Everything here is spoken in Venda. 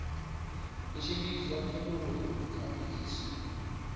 u tshimbidza phindulo kha mbudziso